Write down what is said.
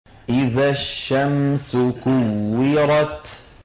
إِذَا الشَّمْسُ كُوِّرَتْ